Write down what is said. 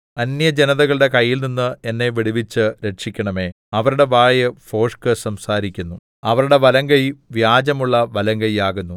അന്യജനതകളുടെ കൈയിൽനിന്ന് എന്നെ വിടുവിച്ച് രക്ഷിക്കണമേ അവരുടെ വായ് ഭോഷ്ക് സംസാരിക്കുന്നു അവരുടെ വലങ്കൈ വ്യാജമുള്ള വലങ്കയ്യാകുന്നു